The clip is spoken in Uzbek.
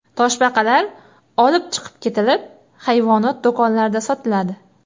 Toshbaqalar olib chiqib ketilib, hayvonot do‘konlarida sotiladi.